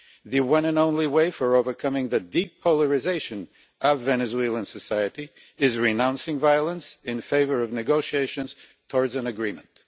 The one and only way to overcome the deep polarisation of Venezuelan society is renouncing violence in favour of negotiations towards an agreement.